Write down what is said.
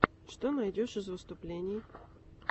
что найдешь из выступлений